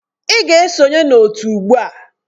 Ị ga-esonye na otu ugbu a!